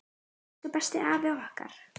Elsku besti afi okkar!